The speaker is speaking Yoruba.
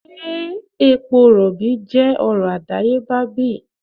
se epo robi je oro adayeba bi?